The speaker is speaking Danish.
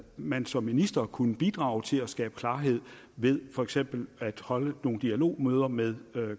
man som minister kunne bidrage til at skabe klarhed ved for eksempel at holde nogle dialogmøder med